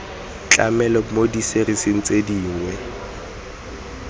tlamelo mo diserising tse dingwe